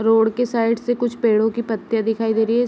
Road के side से कुछ पेड़ों के पत्तिया दिखाई दे रहें हैं।